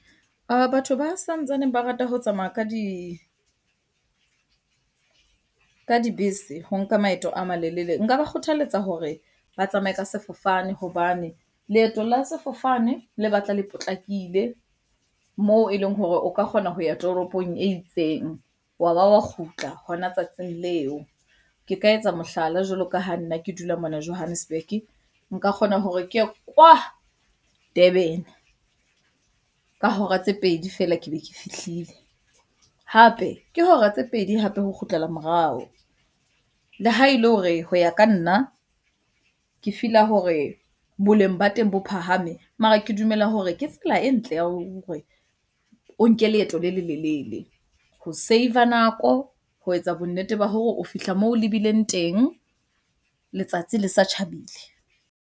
Batho ba santsaneng ba rata ho tsamaya ka dibese ho nka maeto a malelele. Nka ba kgothaletsa hore ba tsamaye ka sefofane hobane leeto la sefofane le batla le potlakile moo eleng hore o ka kgona ho ya toropong e itseng wa ba wa kgutla hona tsatsing leo. Ke ka etsa mohlala jwalo ka ha nna ke dula mona Johannesburg, nka kgona hore ke ye kwa Durban-e. Ka hora tse pedi feela ke be ke fihlile. Hape ke hora tse pedi hape ho kgutlela morao, le ha ele hore ho ya ka nna ke feel-a hore boleng ba teng bo phahame. Mara ke dumela hore ke tsela e ntle ya hore o nke leeto le lelelele ho save-a nako, ho etsa bonnete ba hore o fihla moo o lebileng teng letsatsi le sa tjhabile.